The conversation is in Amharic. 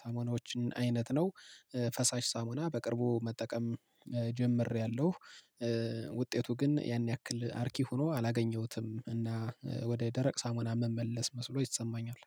ሳሙናዎችን አይነት ነው። ፈሳሽ ሳሞና በቅርቡ መጠቀም ጀምሬያለሁ። ውጤቱ ግን ያን ያክል አርኪ ሆኖ አላገኘሁትም እና ወደ ደረቅ ሳሙና መመለስ መስሎ ይሰማኛል